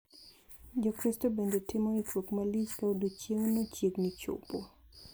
Jokristo bende timo ikruok malich ka odieching` no chiegni chopo.